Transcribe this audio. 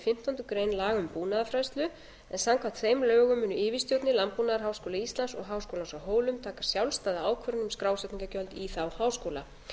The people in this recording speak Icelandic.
fimmtándu grein laga um búnaðarfræðslu en samkvæmt þeim lögum munu yfirstjórnir landbúnaðarháskóla íslands og háskólans á hólum taka sjálfstæða ákvörðun um skrásetningargjöld í þá háskóla